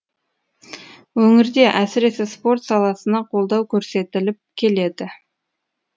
өңірде әсіресе спорт саласына қолдау көрсетіліп келеді